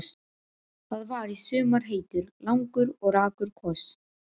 Það var í sumar heitur, langur og rakur koss.